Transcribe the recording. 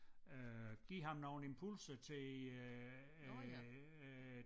Øh giver ham nogle impulser til øh